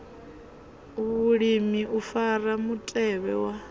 vhulimi u fara mutevhe wa